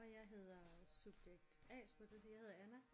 Og jeg hedder subjekt A skulle jeg til at sige jeg hedder Anna